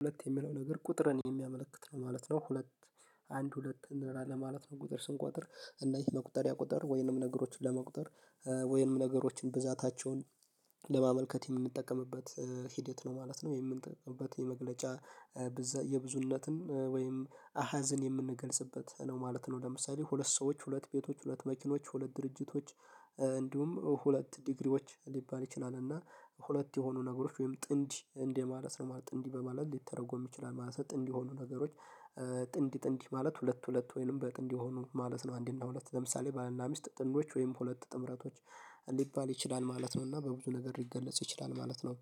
ሁለት የሚለው ነገር ቁጥርን የሚያመለክት ነው ማለት ነው። ሁለት አንድ ሁለት እንደራ ለማለት ነው ቁጥር ስንቆጥር እና ይህ መቁጠሪያ ቁጥር ወይንም ነገሮችን ለመቁጠር ወይም ነገሮችን ብዛታቸውን ለማመልከት የምንጠቀምበት ሂደት ነው ማለት ነው። የምንጠቀምበት መግለጫ የብዙህነትን ወይም አሀዘን የምንገልጽበት ነው ማለት ነው። ለምሳሌ ሁለት ሰዎች ሁለት ቤቶች ሁለት መኪኖች ሁለት ድርጅቶች እንዲሁም ሁለት ዲግሪዎች ሊባል ይችላል። እና ሁለት የሆኑ ነገሮች ወይም ጥንድ እንደ ማለት ነው ማለት ጥንድ በማለት ሊተረጎም ይችላል ማለት ጥንድ የሆኑ ነገሮች። ጥንድ ጥንድ ማለት ሁለት ሁለት ወይንም በጥንድ የሆኑ ማለት ነው። አንዲና ሁለት ለምሳሌ ባልና ሚስት ጥንዶች ወይም ሁለት ጥምረቶች ሊባል ይችላል ማለት ነው። እና በብዙ ነገር ሊገለጽ ይችላል ማለት ነው።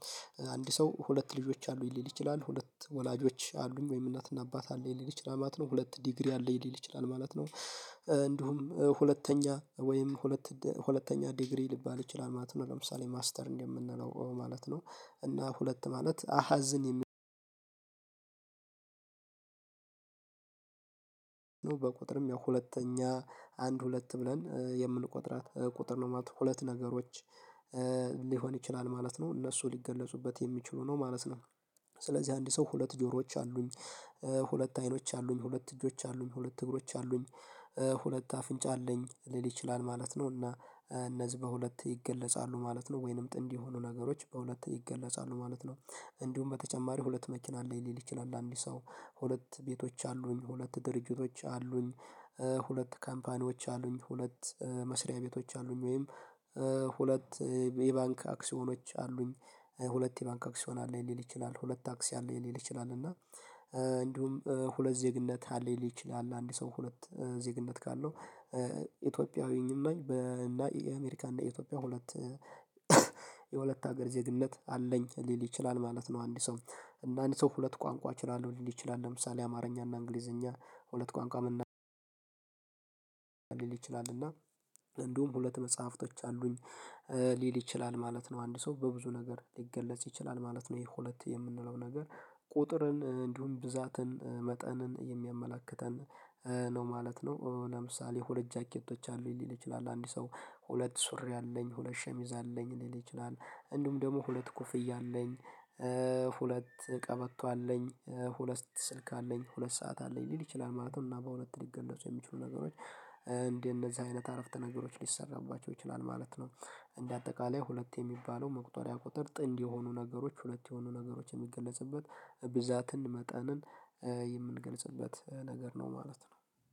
አንድ ሰው ሁለት ልጆች አሉኝሊል ይችላል ሁለት ወላጆች አሉኝ ወይም እናትና አባት አለኝ ሊል ይችላል ማለት ነው። ሁለት ዲግሪ አለኝ ሊል ይችላል ማለት ነው። እንዲሁም ሁለተኛ ወይም ሁለት ሁለተኛ ዲግሪ ሊባል ይችላል ማለት ነው። ለምሳሌ ማስተር እንደምንለው ማለት ነው። እና ሁለት ማለት አሃዝን በቁጥርም ያው ሁለተኛ አንድ ሁለት ብለን የምንቆጥራት ቁጥር ነው ማለት ነው። ሁለት ነገሮች ሊሆን ይችላል ማለት ነው እነሱ ሊገለጹበት የሚችሉ ነው ማለት ነው። ስለዚህ አንድ ሰው ሁለት ጆሮዎች አሉኝ ሁለት አይኖች አሉኝ ሁለት እጆች አሉኝ ሁለት እግሮች አሉኝ ሁለት አፍንጫ አለኝ ሊል ይችላል ማለት ነው። እና እነዚህ በሁለት ይገለጻሉ ማለት ነው። ወይንም ጥንድ የሆኑ ነገሮች በሁለት ይገለጻሉ ማለት ነው። እንዲሁም በተጨማሪ ሁለት መኪና አለኝሊል ይችላል ለአንድ ሰው ሁለት ቤቶች አሉኝ ሁለት ድርጅቶች አሉኝ። ሁለት ካምፓኒዎች አሉኝ ሁለት መስሪያ ቤቶች አሉኝ ወይም ሁለት የባንክ አክሲዮኖች አሉኝ። ሁለት የባንክ አክሲዮን አለኝ ሊል ይችላል ሁለት ታክሲ አለኝሊል ይችላል እና። እንዲሁም ሁለት ዜግነት አለኝ ሊል ይችላል አንድ ሰው ሁለት ዜግነት ካለው ኢትዮጵያዊም ነኝ በ እና የአሜሪካ እና የኢትዮጵያ ሁለት የሁለት ሀገር ዜግነት አለኝ ሊል ይችላል ማለት ነው። አንድ ሰው እና አንድ ሰው ሁለት ቋንቋ እችላለሁ ሊል ይችላል ለምሳሌ አማርኛ እና እንግሊዘኛ ሁለት ቋንቋ መናገር ሊል ይችላል እና እንዲሁም ሁለት መጽሃፍቶች አሉኝ ሊል ይችላል ማለት ነው። አንድ ሰው በብዙ ነገር ሊገለጽ ይችላል ማለት ነው። የሁለት የምንለው ነገር ቁጥርን እንዲሁም ብዛትን መጠንን የሚያመላክተን ነው ማለት ነው። ለምሳሌ ሁለት ጃኬቶች አሉኝ ሊል ይችላል አንድ ሰው ሁለት ሱሪ አለኝ ሁለት ሸሚዝ አለኝ ሊል ይችላል። እንዲሁም ደግሞ ሁለት ኮፍይ አለኝ። ሁለት ቀበቶ አለኝ ሁለት ስልክ አለኝ ሁለት ሰዓት አለኝ ሊል ይችላል ማለት ነው። እና በሁለት ሊገለጹ የሚችሉ ነገሮች እንደ እነዚህ አይነት አረፍተ ነገሮች ሊሰራባቸው ይችላል ማለት ነው። እንደ አጠቃላይ ሁለት የሚባለው መቁጠሪያ ቁጥር ጥንድ የሆኑ ነገሮች ሁለት የሆኑ ነገሮች ሚገለጽበት ብዛትን መጠንን የምንገለጽበት ነገር ነው ማለት ነው።